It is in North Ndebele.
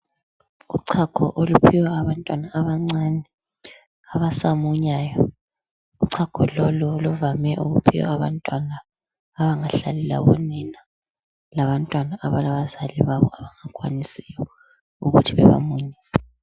Uchago oluphiwa abantwana abancane abasamunyayo uchago lolu luvame ukuphiwa abantwana abangahlali labonina labantwana abalabazali babo abangakhwanisi ukuthi bebamunyise